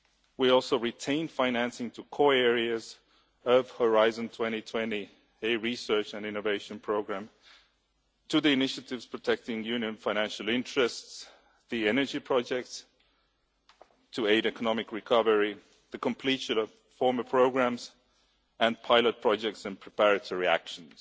We also retained financing to core areas of Horizon 2020, a research and innovation programme, to the initiatives protecting Union financial interests, the energy projects, to aid economic recovery, the completion of former programmes, and pilot projects and preparatory actions.